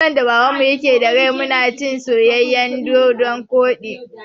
Sanda Babana ke da rai mu na cin soyayyen dodon koɗi